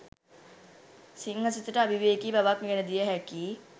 සිංහ සිතට අවිවේකී බවක් ගෙනදිය හැකි